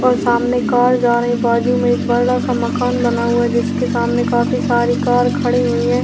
और सामने कार जा रही है बाजू में एक बड़ा सा मकान बना हुआ है जिसके सामने काफी सारी कार खड़ी हुई हैं।